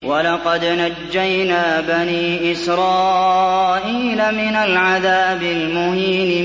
وَلَقَدْ نَجَّيْنَا بَنِي إِسْرَائِيلَ مِنَ الْعَذَابِ الْمُهِينِ